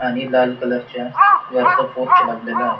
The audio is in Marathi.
आणि लाल कलरच्या वर तो पोर्च लागलेला आहे.